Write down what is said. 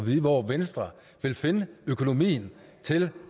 vide hvor venstre vil finde økonomien til